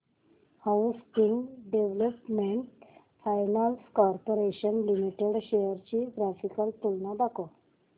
housing Development Finance Corporation Limited shares ची graphical तुलना दाखव